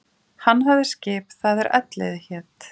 Hann hafði skip það er Elliði hét.